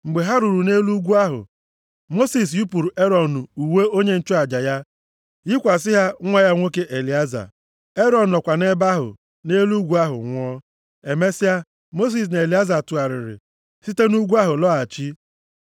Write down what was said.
Mgbe ha ruru nʼelu ugwu ahụ, Mosis yipụrụ Erọn uwe onye nchụaja ya yikwasị ha nwa ya nwoke Elieza. Erọn nọkwa nʼebe ahụ, nʼelu ugwu ahụ nwụọ. Emesịa, Mosis na Elieza tụgharịrị site nʼugwu ahụ lọghachi.